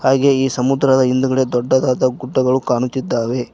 ಹಾಗೆ ಈ ಸಮುದ್ರದ ಹಿಂದುಗಡೆ ದೊಡ್ಡದಾದ ಗುಡ್ಡಗಳು ಕಾಣುತ್ತಿದ್ದಾವೆ.